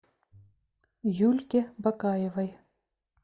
юльке бакаевой